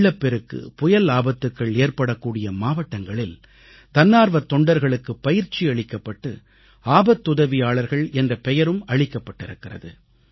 வெள்ளப்பெருக்கு புயல் ஆபத்துகள் ஏற்படக்கூடிய மாவட்டங்களில் தன்னார்வத் தொண்டர்களுக்குப் பயிற்சி அளிக்கப்பட்டு ஆபத்துதவியாளர்கள் என்ற பெயரும் அளிக்கப்பட்டிருக்கிறது